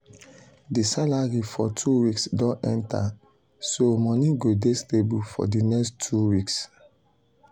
the salary for two weeks don enter so money go dey stable for di next two weeks.